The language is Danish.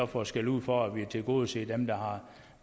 fået skældud for at vi vil tilgodese dem der har